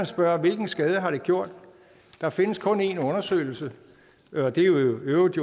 spørge hvilken skade har det gjort der findes kun én undersøgelse og det er jo i øvrigt